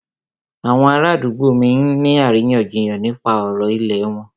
Àwọn ará àdúgbò mí ń ní àríyànjiyàn nípa ọ̀rọ̀ ìlẹ̀ wọn.